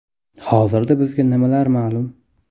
Hozirda bizga nimalar ma’lum?